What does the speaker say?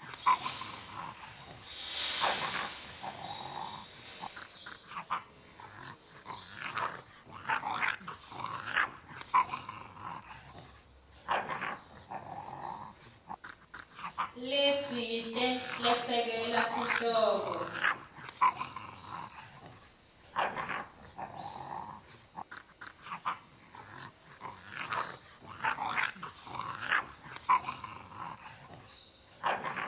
letsite lesekela sihloko